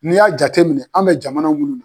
N'i y'a jateminɛ an bɛ jamana munnu na.